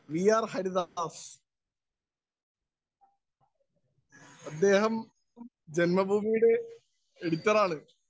Speaker 1 V. R‍ . Haridas, അദ്ദേഹം ജന്മഭൂമിയുടെ എഡിറ്ററാണ്.